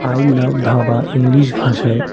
I love dhaba English ভাষায়।